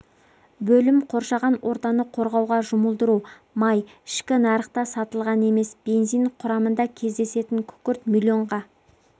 бөлім қоршаған ортаны қорғауға жұмылдыру май ішкі нарықта сатылған емес бензин құрамында кездесетін күкірт миллионға